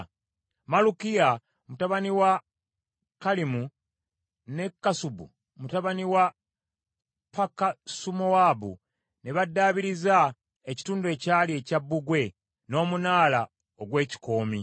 Malukiya mutabani wa Kalimu ne Kassubu mutabani wa Pakasumowaabu ne baddaabiriza ekitundu ekirala ekya bbugwe n’Omunaala ogw’Ekikoomi.